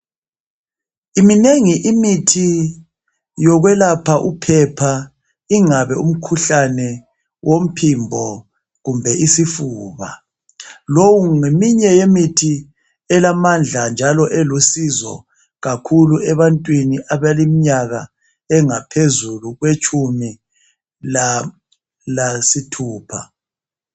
Minengi imithi yokwelapha wophepha ingabe umkhuhlane womphimbo kumbe isifuba lowu ngeminye yemithi elamadla njalo elusizo kakhulu ebantwini abaleminyaka engaphezulu kwetshumi lasithupha .